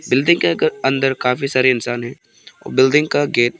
building के अंदर काफी सारे इंसान है बिल्डिंग का गेट --